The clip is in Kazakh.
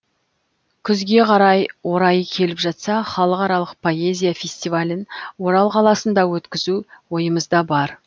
күзге қарай орайы келіп жатса халықаралық поэзия фестивалін орал қаласында өткізу ойымызда бар